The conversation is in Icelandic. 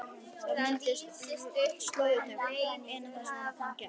Það myndaðist slóð í dögg- ina þar sem hann gekk.